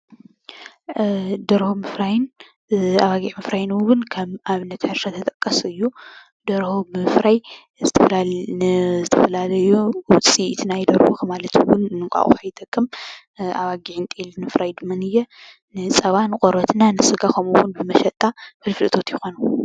ደርሆ ምፍራይን ኣባጊዕ ምፍራይን እውን ከም ኣብነት ሕርሻ ዝጥቀስ እዩ። ደርሆ ብምፍራይ ንዝተፈላለዩ ውፅኢት ናይ ደርሆ ማለት እውን ንእንቋቁሖ ይጠቅም። ኣባጊዕን ጤልን ምፍራይን ድማነየ ንፀባ ንቆርበት ና ንስጋ ከምኡውን ንመሸጣ ፍልፍል እቶት ይኾኑ።